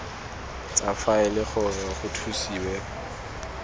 tsa faele gore go thusiwe